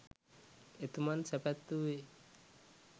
එතුමන් සැපත් වූයේ